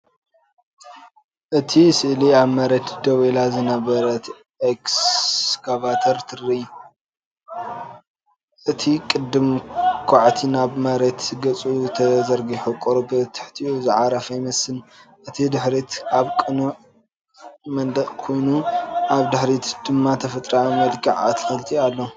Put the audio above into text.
እቲ ስእሊ ኣብ መሬት ደው ኢላ ዝነበረት ኤክስካቫተር ትርኢ። እቲ ቅልጽም ኳዕቲ ናብ መሬት ገጹ ተዘርጊሑ ቁሩብ ትሕቲኡ ዝዓረፈ ይመስል። እቲ ድሕሪት ኣብ ጽኑዕ መንደቕ ኮይኑ፡ ኣብ ድሕሪት ድማ ተፈጥሮኣዊ መልክዕ ኣትክልቲ ኣሎ።